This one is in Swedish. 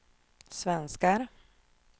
svenskar